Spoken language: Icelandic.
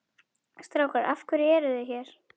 Strákar af hverju eruð þið hér?